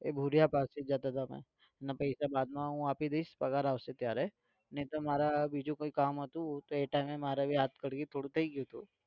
એતો ભુરીયા પાસે જતો હતો એના પૈસા બાદમાં હું આપી દઈશ પગાર આવશે ત્યારે નહીં તો મારે બીજુ કઈ કામ હતું તો એ time મારે भी હાથ થોડું થઇ ગયું હતું.